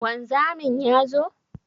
Wanzamin ya zo?